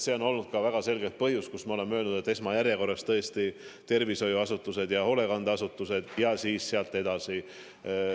See on olnud väga selge põhjus, miks me oleme öelnud, et esmajärjekorras on tõesti tervishoiuasutused ja hoolekandeasutused ja sealt edasi.